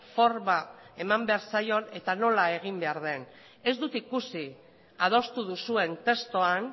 forma eman behar zaion eta nola egin behar den ez dut ikusi adostu duzuen testuan